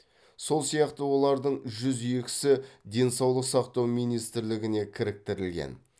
сол сияқты олардың жүз екісі денсаулық сақтау министрлігіне кіріктірілген